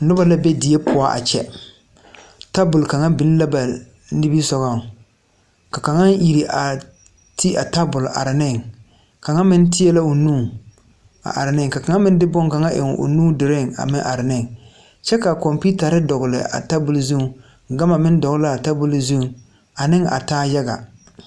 Nobɔ la be die poɔ a kyɛ tabol kaŋa biŋ la ba nimisugɔŋ ka kaŋa iri a te a tabol a are neŋ kaŋa meŋ teɛ la o nu a are neŋ ka kaŋa meŋ de bonkaŋa eŋ o nu duruŋ a meŋ are neŋ kyɛ ka kɔmpiutarre dɔgle a tabol zuŋ gama meŋ dɔgle laa tabol zuŋ aneŋ a taa yaga.